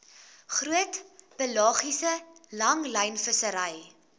groot pelagiese langlynvissery